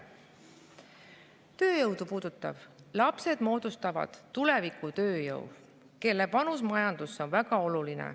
Tööjõudu puudutavalt moodustavad lapsed tuleviku tööjõu, kelle panus majandusse on väga oluline.